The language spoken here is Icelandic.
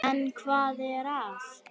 En hvað er að?